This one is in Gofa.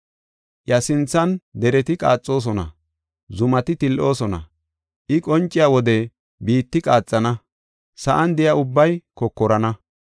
Iya sinthan dereti qaaxoosona; zumati til7oosona. I qonciya wode biitti qaaxana; sa7an de7iya ubbay kokorana.